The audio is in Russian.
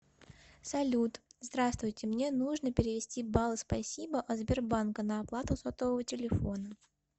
салют здравствуйте мне нужно перевести баллы спасибо от сбербанка на оплату сотового телефона